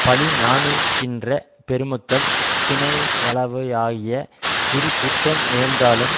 பழி நாணுகின்ற பெருமக்கள் தினையாளவுவாகிய சிறு குற்றம் நேர்ந்தாலும்